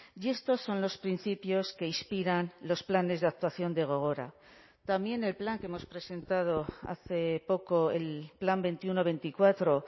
y estos son los principios que inspiran los planes de actuación de gogora también el plan que hemos presentado hace poco el plan veintiuno veinticuatro